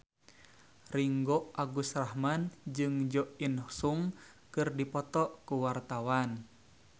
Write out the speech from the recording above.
Ringgo Agus Rahman jeung Jo In Sung keur dipoto ku wartawan